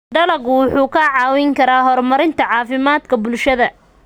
Dalaggu wuxuu kaa caawin karaa horumarinta caafimaadka bulshada.